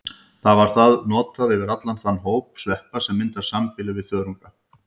Þar var það notað yfir allan þann hóp sveppa sem myndar sambýli við þörunga.